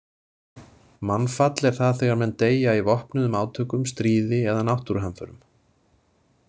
Mannfall er það þegar menn deyja í vopnuðum átökum, stríði eða náttúruhamförum.